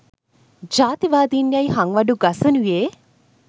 ජාතිවාදින් යැයි හංවඩු ගසනුයේ